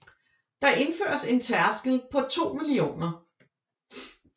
Der indføres en tærskel på 2 mio